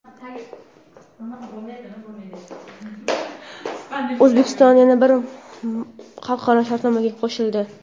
O‘zbekiston yana bir xalqaro shartnomaga qo‘shildi.